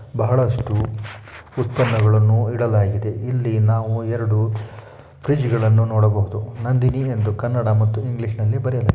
ಬಹಳಷ್ಟು ಉತ್ಪನ್ನಗಳನ್ನು ಇಡಲಾಗಿದೆ ಇಲ್ಲಿ ನಾವು ಎರಡು ಫ್ರಿಡ್ಜ್ ಗಳನ್ನು ನೋಡಬಹುದು ನಂದಿನಿ ಎಂದು ಕನ್ನಡ ಮತ್ತು ಇಂಗ್ಲಿಷ್ ನಲ್ಲಿ ಬರೆಯಲಾಗಿದೆ.